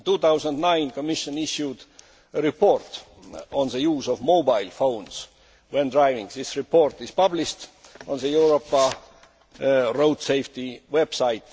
In 2009, the Commission issued a report on the use of mobile phones when driving. This report is published on the Europa road safety website.